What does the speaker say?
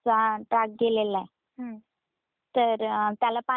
तर त्याला ना पाणी आल होत खूप पाणी होत.